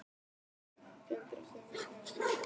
Kendra, hvernig kemst ég þangað?